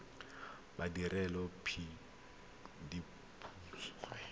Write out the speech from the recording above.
badiredipuso